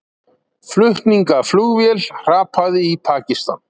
Flutningaflugvél hrapaði í Pakistan